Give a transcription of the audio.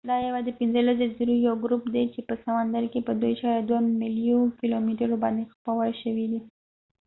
دا یوه د پنځلس جزایرو یو ګروپ دي چې په سمندرکې په 2.2 ملیونو کلومترو باندي خپور شوي دي